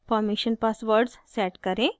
permission passwords set करें